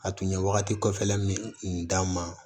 A tun ye wagati kɔfɛla min d'an ma